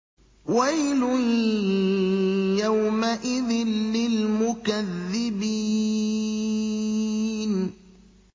وَيْلٌ يَوْمَئِذٍ لِّلْمُكَذِّبِينَ